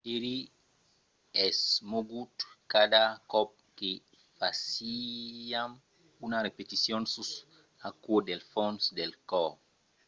"èri esmogut cada còp que fasiam una repeticion sus aquò del fons del còr.